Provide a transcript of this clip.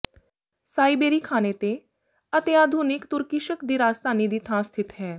ਸਾਈਬੇਰੀ ਖਾਨੇਤੇ ਅਤੇ ਆਧੁਨਿਕ ਤੁਰਕਿਸ਼ਕ ਦੀ ਰਾਜਧਾਨੀ ਦੀ ਥਾਂ ਸਥਿਤ ਹੈ